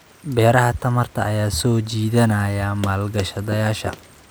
Beeraha tamarta ayaa soo jiidanaya maalgashadayaasha.